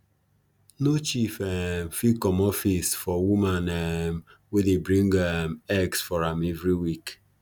no chief um fit comot for face for woman um wey dey bring um eggs for am every week